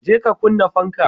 je ka kunna fanka.